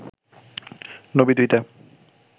নবী-দূহিতা